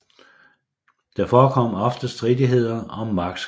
Der forekom ofte stridigheder om markskel